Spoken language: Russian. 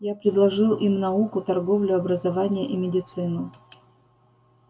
я предложил им науку торговлю образование и медицину